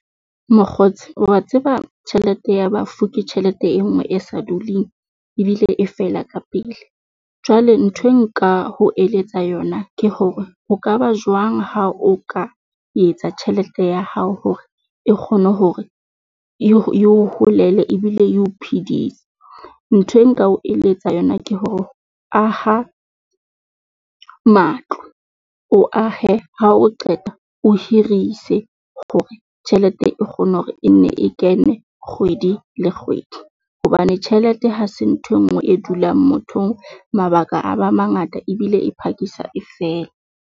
Mokgotsi wa tseba tjhelete ya bafu, ke tjhelete e nngwe e sa duleng ebile e fela ka pele. Jwale nthwe nka ho eletsa yona ke hore ho ka ba jwang ha o ka etsa tjhelete ya hao hore e kgone hore yo yo holele ebile eo phidise? Ntho eo nka o eletsa yona ke hore aha matlo o ahe ha o qeta, o hirise hore tjhelete e kgona hore e nne e kene kgwedi le kgwedi hobane tjhelete ha se nthwe nngwe e dulang mothong. Mabaka a ba mangata ebile e phakisa e fela.